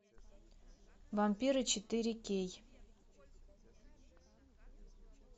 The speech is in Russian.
вампиры четыре кей